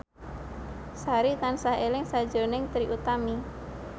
Sari tansah eling sakjroning Trie Utami